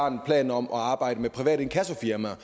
en plan om at arbejde med private inkassofirmaer